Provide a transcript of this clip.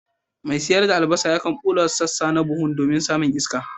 Mai sayar da albasa yakan bulla wasu sassa na buhun domin samun iska.